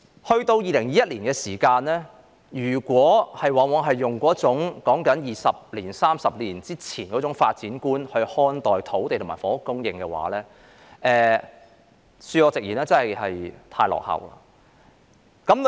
時至2021年，如果我們仍然用二三十年前的發展觀看待土地和房屋供應的話，恕我直言，真的是太落後了。